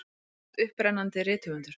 Þú ert upprennandi rithöfundur.